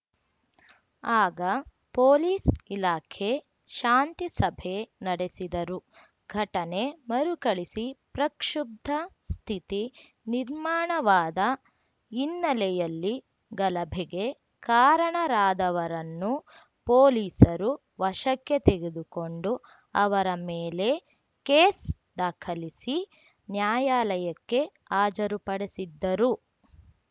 ಆಗ ಪೊಲೀಸ್‌ ಇಲಾಖೆ ಶಾಂತಿಸಭೆ ನಡೆಸಿದರೂ ಘಟನೆ ಮರುಕಳಿಸಿ ಪ್ರಕ್ಷುಬ್ಧ ಸ್ಥಿತಿ ನಿರ್ಮಾಣವಾದ ಹಿನ್ನೆಲೆಯಲ್ಲಿ ಗಲಭೆಗೆ ಕಾರಣರಾದವರನ್ನು ಪೊಲೀಸರು ವಶಕ್ಕೆ ತೆಗೆದುಕೊಂಡು ಅವರ ಮೇಲೆ ಕೇಸ್‌ ದಾಖಲಿಸಿ ನ್ಯಾಯಾಲಯಕ್ಕೆ ಹಾಜರುಪಡಿಸಿದ್ದರು